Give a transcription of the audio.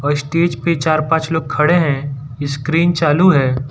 और स्टेज पे चार पांच लोग खड़े हैं स्क्रीन चालू है।